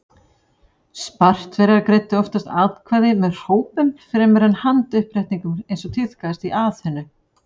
Spartverjar greiddu oftast atkvæði með hrópum fremur en með handauppréttingum eins og tíðkaðist í Aþenu.